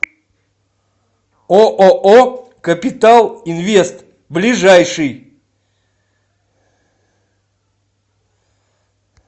ооо капитал инвест ближайший